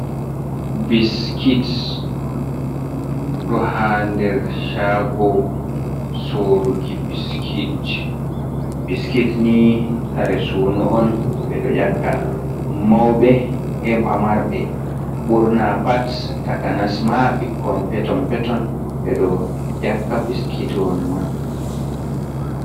"Biskit" ɗo ha nder shaago soruki biskit ji. Biskit ni kare suno on beɗo yakka mauɓe e pamarɓe ɓurna pat takanasma ɓikkon peto peton ɓeɗo yakka biskit won man.